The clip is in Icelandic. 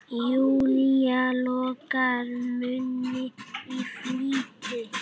Júlía lokar munni í flýti.